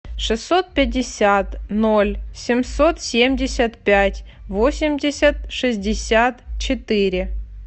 шестьсот пятьдесят ноль семьсот семьдесят пять восемьдесят шестьдесят четыре